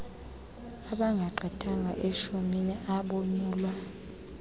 abangagqithanga eshumini abonyulwa